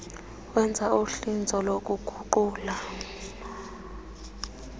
wenza uhlinzo lokuguqula